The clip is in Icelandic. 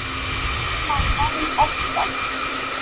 Ómar vann oftast.